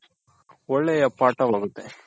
ಒಳ್ಳೆಯ ಪಾಠ ವಾಗುತ್ತೆ.